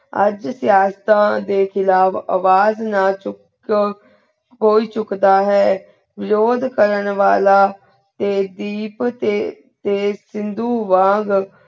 ਅੱਜ ਸਿਯਾਸਾਤਾ ਦੇ ਖਿਲਾਫ਼ ਅਵਾਜ਼ ਨਾ ਚੁਕਾਨ ਕੋਈ ਚੂਕ ਦਾ ਹੈ ਲੋੜ ਕਰਨ ਵਾਲਾ ਆਯ ਧੀਪ ਤੇ ਤੇ ਖਿੰਦੁ ਵਾਂਗ